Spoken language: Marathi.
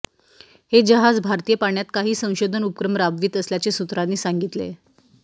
हे जहाज भारतीय पाण्यात काही संशोधन उपक्रम राबवित असल्याचे सूत्रांनी सांगितले